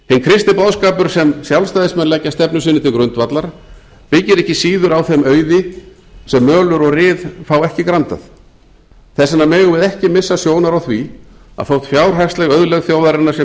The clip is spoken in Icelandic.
kristni boðskapur sem sjálfstæðismenn leggja stefnu sinni til grundvallar byggir ekki síður á þeim auði sem mölur og ryð fá ekki grandað þess vegna megum við ekki missa sjónar á því að þótt fjárhagsleg auðlegð þjóðarinnar sé